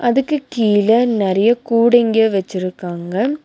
அதுக்கு கீழ நெறைய கூடைங்க வச்சிருக்காங்க.